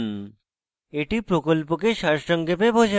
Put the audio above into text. এটি প্রকল্পকে সারসংক্ষেপে বোঝায়